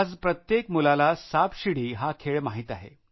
आज प्रत्येक मुलाला सापशिडी हा खेळ माहित आहे